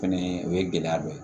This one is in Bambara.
Fɛnɛ o ye gɛlɛya dɔ ye